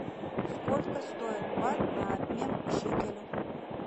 сколько стоит бат на обмен к шекелю